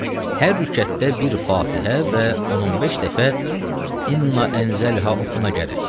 Hər rükətdə bir Fatihə və 15 dəfə "İnna ənzəlnahu" oxuna gərək.